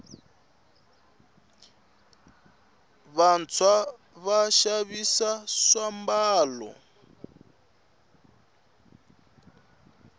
vantswa va xavisa swambalo